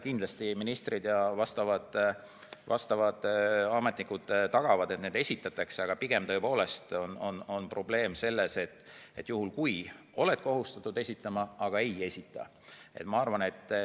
Kindlasti ministrid ja muud vastavad ametnikud tagavad, et need esitatakse, aga pigem tõepoolest on probleem selles, et kui sa oled kohustatud esitama, sa ikkagi ei esita.